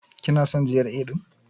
Kina son GRA ɗin?